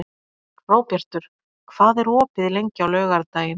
Hróbjartur, hvað er opið lengi á laugardaginn?